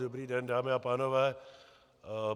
Dobrý den, dámy a pánové.